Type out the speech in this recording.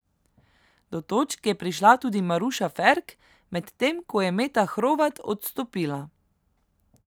Do točk je prišla tudi Maruša Ferk, medtem ko je Meta Hrovat odstopila.